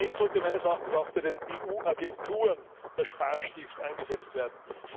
Konkret sollte meines Erachtens auch bei den EU Agenturen der Sparstift angesetzt werden.